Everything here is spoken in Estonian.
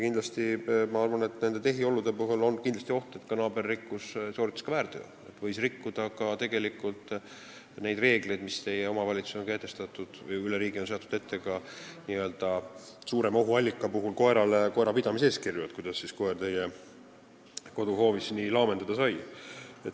Ma arvan, et neid tehiolusid arvestades on oht, et naaber sooritas väärteo, ta võis rikkuda ka neid reegleid, mille on kehtestanud omavalitsus või mis on üle riigi kindlaks määratud, koerapidamise eeskirju, sest kuidas siis koer teie koduhoovis nii laamendada sai.